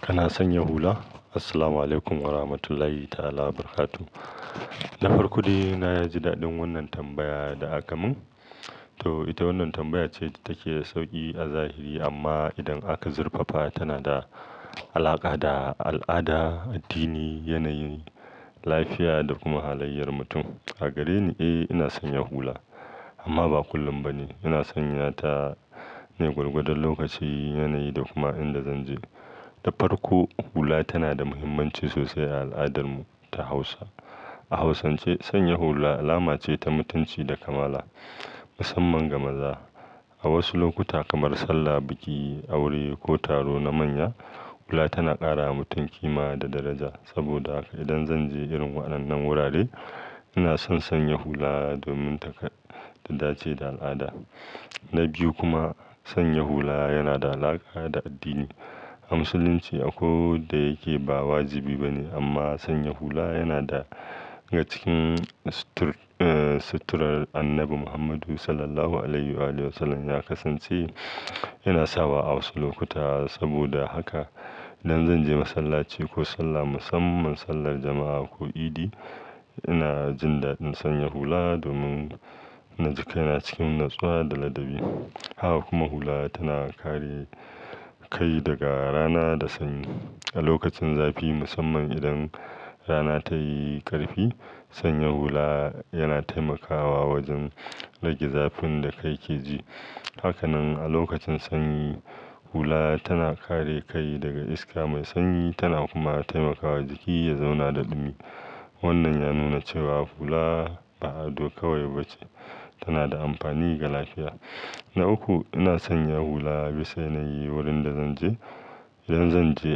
Kana sanya hula? Assalamualaikum Warahmatullahi Ta'ala Wabarakatuh. Na farko, dai naji daɗin wannan tambaya da aka mun. To ita wannan tambaya ce da take da sauki a zahiri amma idan aka zurfafa tana da alaƙa da al'ada, addini, yanayi, lafiya da kuma halayyar mutum. A gare ni, eh ina sanya hula amma ba kullum ba ne. Ina sanya ta ne gwargwadon lokaci, yanayi da kuma inda zan je. Na farko, hula tana da muhimmanci sosai a al'adar mu ta Hausa. A Hausance, sanya hula alama ce ta mutunci da kamala, musamman ga maza. A wasu lokuta kamar sallah, biki, aure ko taro na manya, hula tana ƙara wa mutum kima da daraja. Saboda haka idan zan je irin waɗannan wurare ina son sanya hula domin taka dace da al'ada. Na biyu kuma, sanya hula yana da alaƙa da addini. A Musulunci, akwai wan da yake ba wajibi ba ne amma sanya hula yana daga cikin suturar Annabi Muhammadu Sallallahu Alaihi Wasallam. Ya kasance yana sawa a wasu lokuta. Saboda haka idan zan je masallaci ko sallah, musamman sallar jama'a ko Idi, ina jin daɗin sanya hula domin na ji kaina cikin natsuwa da ladabi. Haka kuma hula tana kare kai daga rana da sanyi. A lokacin zafi, musamman idan rana tayi ƙarfi, sanya hula yana taimakawa wajen rage zafin da kai ke ji. Hakanan a lokacin sanyi, hula tana kare kai daga iska mai sanyi tana kuma taimakawa jiki ya zauna da dumi. Wannan ya nuna cewa hula ba ado kawai bace, tana da amfani ga lafiya. Na uku, ina sanya hula bisa yanayi wurin da zan je. Idan zan je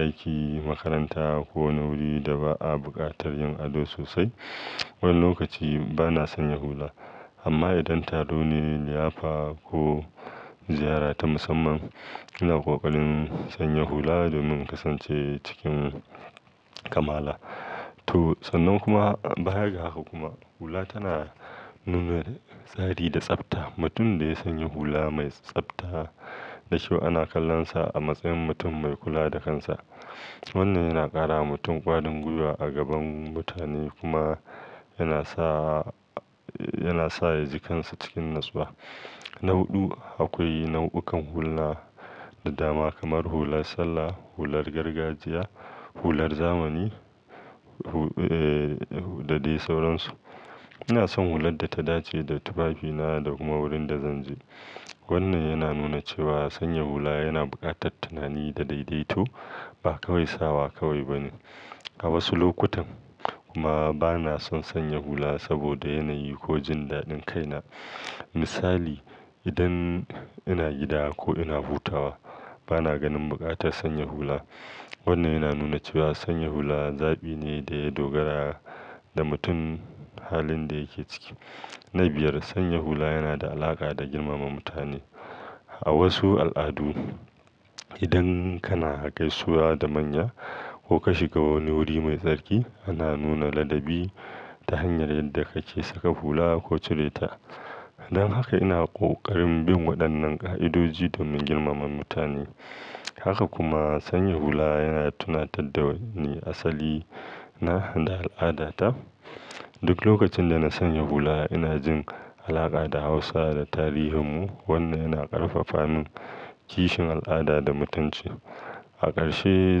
aiki, makaranta ko wani wuri da ba a buƙatar yin ado sosai, wannan lokaci bana sanya hula. Amma idan taro ne, liyafa ko ziyara ta musamman ina ƙoƙarin sanya hula domin kasance cikin kamala. To, sannan kuma, baya ga haka kuma hula tana nuna tsari da tsafta. Mutum da ya sanyi hula mai tsafta da kyau, ana kallon sa a matsayin mutum mai kula da kansa. Wannan yana ƙara wa mutum ƙwarin gwiwa a gaban mutane kuma yana sa, yana sa ya ji kansa cikin natsuwa. Na huɗu, akwai nau'ukan hula da dama kamar hular sallah, hular gargajiya, hular zamani, ee, da dai sauransu. Ina son hular da ta dace da tufafi na da kuma wurin da zan je. Wannan yana nuna cewa sanya hula yana buƙatar tunani da daidaito ba kawai sawa kawai ba ne. A wasu lokutan kuma bana son sanya hula saboda yanayi ko jin daɗin kaina. Misali, idan ina gida ko ina hutawa bana ganin buƙatar sanya hula. Wannan yana nuna cewa sanya hula zaɓi ne da ya dogara da mutum halin da yake ciki. Na biyar, sanya hula yana da alaƙa da girmama mutane. A wasu al'adu, idan kana kai suwaa da manya ko ka shiga wani wuri mai tsarki, ana nuna ladabi ta hanyar yadda kake saka hula ko cire ta. Don haka ina ƙoƙarin bin waɗannan ƙa'idoji domin girmama mutane. Haka kuma sanya hula yana tunatar da wani asali na da al'adata. Duk lokacin da na sanya hula ina jin alaƙa da Hausa da tarihin mu. Wannan yana ƙarfafa min kishin al'ada da mutunci. A ƙarshe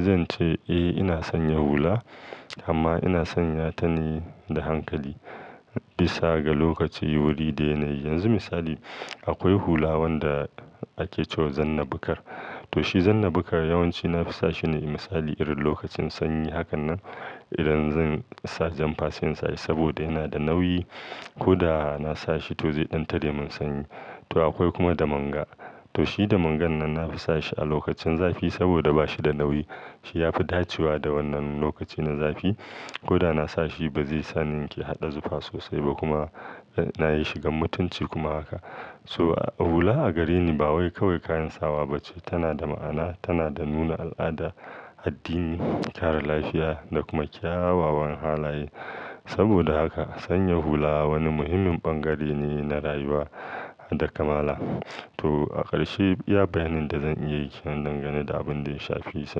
zan ce, eh ina sanya hula amma ina sanya ta ne da hankali bisa ga lokaci, wuri da yanayi. Yanzu misali akwai hula wanda ake cewa zanna bukar. To shi zanna bukar yawanci nafasa shi ne misali irin lokacin sanyi. Hakanan idan zan sa janfa sai in sashi saboda yana da nauyi ko da na sa shi to zai ɗan tare mun sanyi. To akwai kuma da manga. To shi da mangan nan nafisa shi a lokacin zafi saboda bashi da nauyi. Shi ya fi dacewa da wannan lokaci na zafi ko da na sa shi bazai sa ni in ke haɗa zufa sosai ba kuma yana yin shigan mutunci kuma haka. To hula a gare ni ba kawai kayan sawa bace, tana da ma'ana, tana da nuna al'ada, addini, kare lafiya da kuma kyawawan halaye. Saboda haka sanya hula wani muhimmin bangare ne na rayuwa da kamala. To a ƙarshe, iya bayanin da zan iya yi kenan dangane da abin da ya shafi sa.